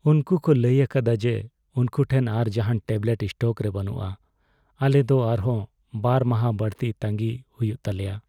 ᱩᱱᱠᱩ ᱠᱚ ᱞᱟᱹᱭ ᱟᱠᱟᱫᱟ ᱡᱮ ᱩᱱᱠᱩ ᱴᱷᱮᱱ ᱟᱨ ᱡᱟᱦᱟᱱ ᱴᱮᱵᱞᱮᱴ ᱥᱴᱚᱠ ᱨᱮ ᱵᱟᱹᱱᱩᱜᱼᱟ ᱾ ᱟᱞᱮ ᱫᱚ ᱟᱨᱦᱚᱸ ᱒ ᱢᱟᱦᱟ ᱵᱟᱹᱲᱛᱤ ᱛᱟᱺᱜᱤᱭ ᱦᱩᱭᱩᱜ ᱛᱟᱞᱮᱭᱟ ᱾